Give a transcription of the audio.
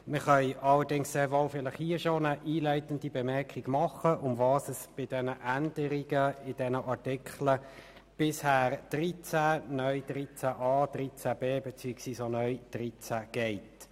Ich kann hier schon eine einleitende Bemerkung machen, worum es bei den Änderungen zu den Artikeln 13 (bisher), 13a (neu) und 13b (neu) geht.